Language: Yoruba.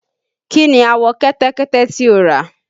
Kí ni àwọ̀ kẹ́tẹ́kẹ́tẹ́ tí o rà?